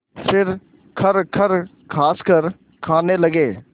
फिर खरखर खाँसकर खाने लगे